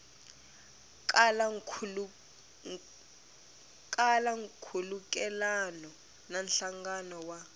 kala nkhulukelano na nhlangano wa